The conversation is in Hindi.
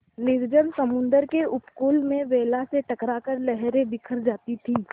निर्जन समुद्र के उपकूल में वेला से टकरा कर लहरें बिखर जाती थीं